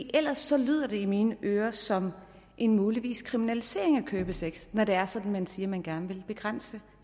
ellers lyder det i mine ører som en mulig kriminalisering af købesex når det er sådan at man siger at man gerne vil begrænse